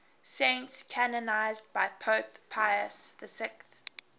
saints canonized by pope pius xi